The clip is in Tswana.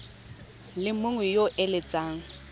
le mongwe yo o eletsang